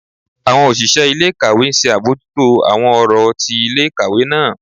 Àwọn òṣìṣẹ́ ilé-ìkàwé ńṣe àbójútó àwọn ọ̀rọ̀ ti ilé-ìkàwé náà.